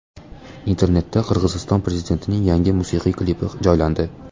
Internetga Qirg‘iziston prezidentining yangi musiqiy klipi joylandi .